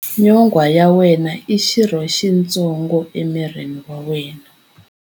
Nyonghwa ya wena i xirho xitsongo emirini wa wena.